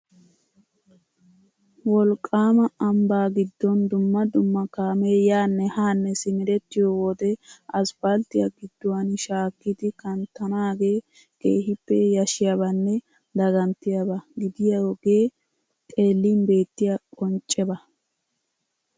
Wolqqaama ambbaa giddon dumma dumma kaamee yaanne haanne simerettiyo wode aspalttiya gidduwan shaakkidi kanttanaagee keehippe yashshiyabanne daganttiyaba gidiyogee xeellin beettiya qoncceba.